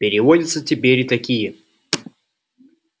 переводятся теперь и такие